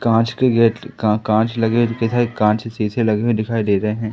कांच के गेट का कांच लगे हुए दिखत है कांच के शीशे लगे हुए दिखाई दे रहे हैं।